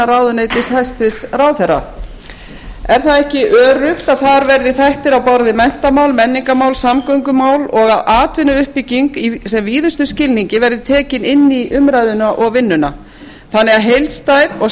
ráðuneytis hæstvirtur ráðherra er það ekki öruggt að þar verði þættir á borð við menntamál menningarmál samgöngumál og atvinnuuppbygging í sem víðustum skilningi verði tekin inn í umræðuna og vinnuna þannig að heildstæð og